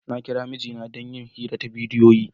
Na kira mijina don yin hira ta bidiyo.